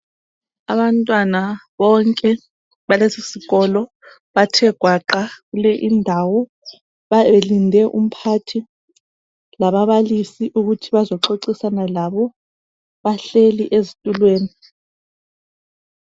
Abantwana bonke balesisikolo bathe gwaqa kule indawo belinde umphathi lababalisi ukuthi bazo xoxisana labo bahleli ezitulweni.